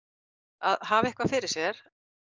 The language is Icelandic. að hafa eitthvað fyrir sér